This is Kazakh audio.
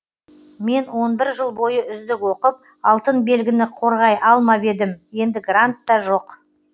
мен он бір жыл бойы үздік оқып алтын белгіні қорғай алмап едім енді грант та жоқ